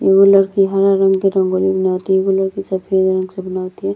एगो लड़की हरा रंग के रंगोली बनावतिया। एगो लड़की सफ़ेद रंग से बनावतिया।